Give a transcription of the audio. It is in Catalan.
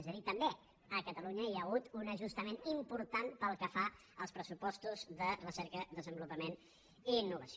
és a dir també a catalunya hi ha hagut un ajustament important pel que fa als pressupostos de recerca desenvolupament i innovació